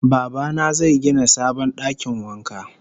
Baba na zai gina sabon dakin wanka